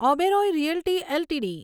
Oberoi realty LTD